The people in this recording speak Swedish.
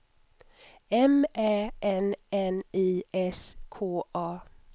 M Ä N N I S K A